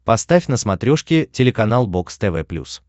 поставь на смотрешке телеканал бокс тв плюс